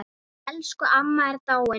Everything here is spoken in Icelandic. Elsku amma er dáinn.